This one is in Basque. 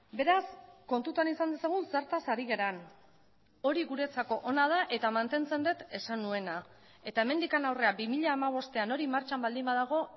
beraz kontutan izan dezagun zertaz ari garen hori guretzako ona da eta mantentzen dut esan nuena eta hemendik aurrera bi mila hamabostean hori martxan baldin badago